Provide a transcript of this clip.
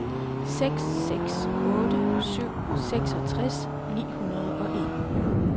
seks seks otte syv seksogtres ni hundrede og en